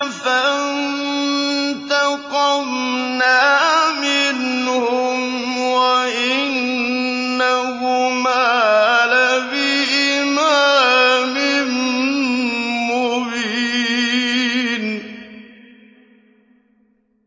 فَانتَقَمْنَا مِنْهُمْ وَإِنَّهُمَا لَبِإِمَامٍ مُّبِينٍ